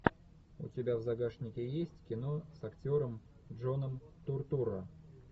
у тебя в загашнике есть кино с актером джоном туртурро